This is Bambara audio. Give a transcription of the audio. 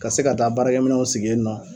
Ka se ka taa baarakɛminɛnw sigi yen nɔ,